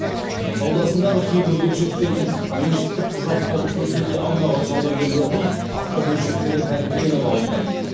саудасындағы кейбір бөлшектердің меншіктік құжаттарын көрсете алмаған саудагерлердің автобөлшектері тәркіленіп алынды